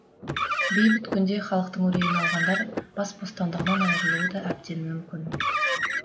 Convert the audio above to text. бейбіт күнде халықтың үрейін алғандар бас бостандығынан айырылуы да әбден мүмкін